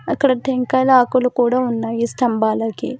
అక్కడ టెంకాయ ఆకలి కూడా ఉన్నాయి స్తంభాలకి.